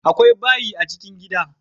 Akwai bayi a chikin gida